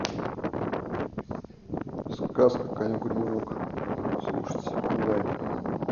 сказка конек горбунок слушать онлайн